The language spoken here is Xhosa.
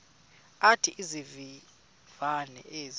athi izivivane ezi